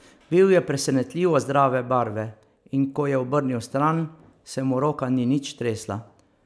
Bil je presenetljivo zdrave barve, in ko je obrnil stran, se mu roka ni nič tresla.